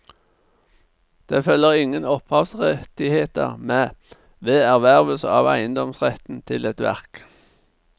Det følger ingen opphavsrettigheter med ved ervervelse av eiendomsretten til et verk.